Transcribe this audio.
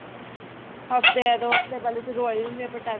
ਹੱਫ਼ਤੇ ਦੋ ਹੱਫ਼ਤੇ ਪਹਿਲੇ ਹੀ ਸ਼ੁਰੂ ਹੋ ਜਾਂਦੇ ਏ ਪਟਾਕੇ